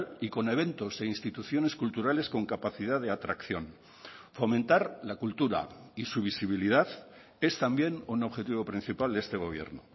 y con eventos e instituciones culturales con capacidad de atracción fomentar la cultura y su visibilidad es también un objetivo principal de este gobierno